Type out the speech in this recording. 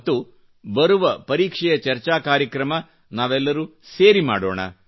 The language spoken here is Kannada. ಮತ್ತು ಬರುವ ಪರೀಕ್ಷೆಯ ಚರ್ಚಾ ಕಾರ್ಯಕ್ರಮ ನಾವೆಲ್ಲರು ಸೇರಿ ಮಾಡೋಣ